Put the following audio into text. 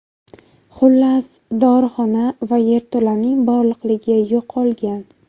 Xullas, dorixona va yerto‘laning bog‘liqligi yo‘qolgan.